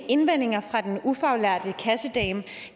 indvendinger fra den ufaglærte kassedame